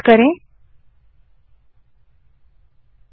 enter दबायें